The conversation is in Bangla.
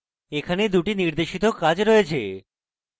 এখানে 2 টি নির্দেশিত কাজ রয়েছে